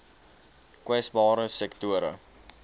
kwesbare sektore